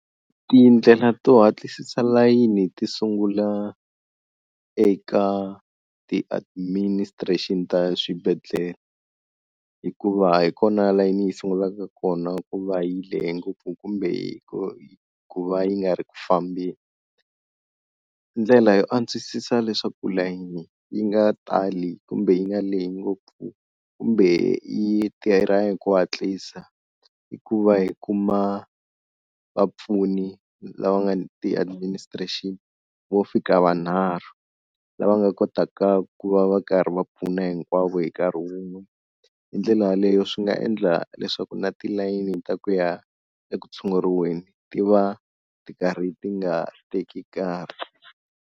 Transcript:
Tindlela to hatlisisa layini ti sungula eka ti-administration ta swibedhlele hikuva hi kona layini yi sungulaka kona ku va yi lehe ngopfu kumbe ku va yi nga ri ku fambeni ndlela yo antswisisa leswaku layeni yi nga tali kumbe yi nga lehi ngopfu kumbe yi tirha hi ku hatlisa hi ku va yi kuma vapfuni lava nga ti administration vo fika va nharhu lava nga kotaka ku va va karhi va pfuna hinkwavo hi nkarhi wun'we hi ndlela yaleyo swi nga endla leswaku na tilayini ta ku ya eku tshunguriweni ti va ti karhi ti nga teki nkarhi.